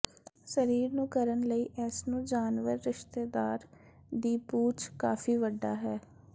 ਸਰੀਰ ਨੂੰ ਕਰਨ ਲਈ ਇਸ ਨੂੰ ਜਾਨਵਰ ਰਿਸ਼ਤੇਦਾਰ ਦੀ ਪੂਛ ਕਾਫ਼ੀ ਵੱਡਾ ਹੈ